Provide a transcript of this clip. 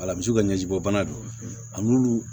Alamisaw ka ɲɛbɔ bana don a n'ulu